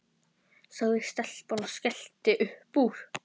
sagði stelpan og skellti upp úr.